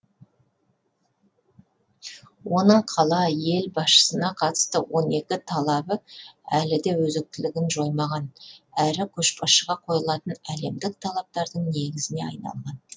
оның қала ел басшысына қатысты он екі талабы әлі де өзектілігін жоймаған әрі көшбасшыға қойылатын әлемдік талаптардың негізіне айналған